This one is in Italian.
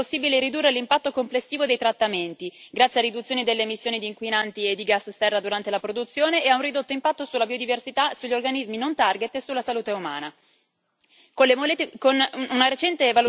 Con le molecole e pesticidi di origine naturale è possibile ridurre l'impatto complessivo dei trattamenti, grazie a riduzioni delle emissioni di inquinanti e di gas serra durante la produzione e a un ridotto impatto sulla biodiversità e sugli gli organismi non target e sulla salute umana.